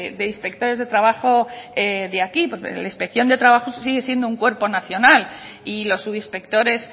de inspectores de trabajo de aquí porque la inspección de trabajo sigue siendo un cuerpo nacional y los subinspectores